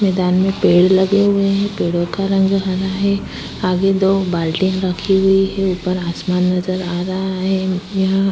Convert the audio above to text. मैंदान में पेड़ लगे हुए हैं। पेड़ों का रंग हरा है। आगे दो बाल्टियां रखी हुई हैं। ऊपर आसमान नजर आ रहा है। यहाँ --